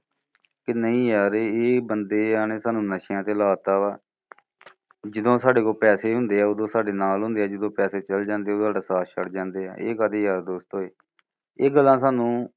ਕਿ ਨਹੀਂ ਯਾਰ ਇਹ ਬੰਦਿਆ ਨੇ ਸਾਨੂੰ ਨਸ਼ਿਆਂ ਤੇ ਲਾਤਾ ਵਾ ਜਦੋਂ ਸਾਡੇ ਕੋਲ ਪੈਸੇ ਹੁੰਦਿਆਂ ਓਦੋਂ ਸਾਡੇ ਨਾਲ ਹੁੰਦਿਆਂ ਜਦੋਂ ਪੈਸੇ ਚੱਲ ਜਾਂਦਿਆ ਓਦੋਂ ਸਾਡਾ ਸਾਥ ਛੱਡ ਜਾਂਦਿਆ। ਇਹ ਕਾਦੇ ਯਾਰ ਦੋਸਤ ਹੋਏ। ਇਹ ਗੱਲਾਂ ਸਾਨੂੰ